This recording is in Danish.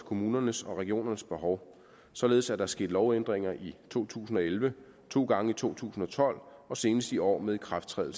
kommunernes og regionernes behov således at der er sket lovændringer i to tusind og elleve to gange i to tusind og tolv og senest i år med ikrafttræden